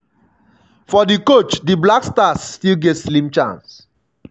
for di coach di blackstars still get slim chance.